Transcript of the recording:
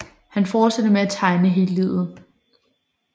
Han fortsatte med at tegne hele livet